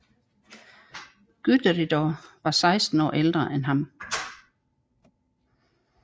Guðríður var 16 år ældre end ham